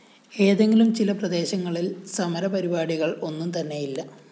എങ്കിലും ചില പ്രദേശങ്ങളില്‍ സമരപരിപാടികള്‍ ഒന്നും തന്നെയില്ല